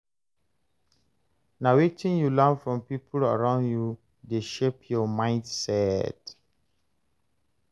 Na wetin you learn from people around you dey shape your mindset.